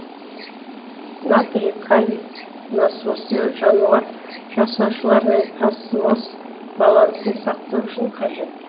натрий калий насосы жануар жасаушаларына осмос балансын сақтау үшін қажет